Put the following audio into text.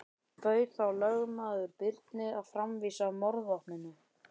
Bauð þá lögmaður Birni að framvísa morðvopninu.